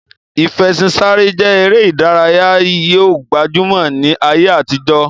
Ìfẹṣinsáré je ere idaraya yi o gbajumo ni aye atijo.